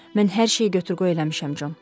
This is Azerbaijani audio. Mən hər şeyi götür-qoy eləmişəm Con.